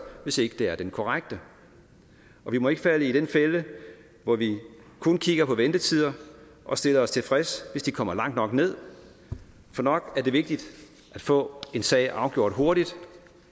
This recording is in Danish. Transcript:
hvis ikke det er den korrekte og vi må ikke falde i den fælde hvor vi kun kigger på ventetider og stiller os tilfreds hvis de kommer langt nok ned for nok er det vigtigt at få en sag afgjort hurtigt